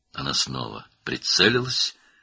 O, yenidən nişan aldı.